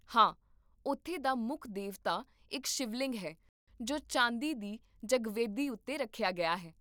ਹਾਂ, ਉੱਥੇ ਦਾ ਮੁੱਖ ਦੇਵਤਾ ਇੱਕ ਸ਼ਿਵਲਿੰਗ ਹੈ ਜੋ ਚਾਂਦੀ ਦੀ ਜਗਵੇਦੀ ਉੱਤੇ ਰੱਖਿਆ ਗਿਆ ਹੈ